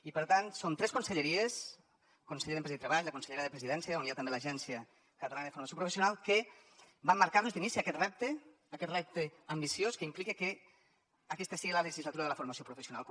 i per tant som tres conselleries el conseller d’empresa i treball la consellera de presidència on hi ha també l’agència catalana de formació professional que vam marcar nos d’inici aquest repte aquest repte ambiciós que implica que aquesta sigui la legislatura de la formació professional